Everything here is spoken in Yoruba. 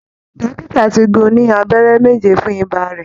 Dọ́kítà ti gún-un ní abẹrẹ méje fún ìbà rẹ̀